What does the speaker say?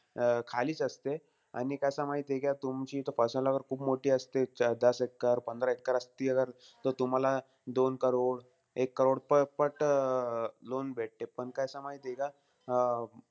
अं खालीच असते. आणि कसंय माहितीय का, तुमची खूप मोठी असते, दस एक्कर-पंधरा एक्कर असती जर, तो तुम्हाला दोन करोड- एक करोड प पट अं loan भेटते. पण कसंय माहितीय का?